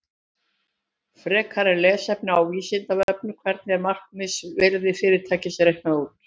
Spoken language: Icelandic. Frekara lesefni á Vísindavefnum: Hvernig er markaðsvirði fyrirtækis reiknað út?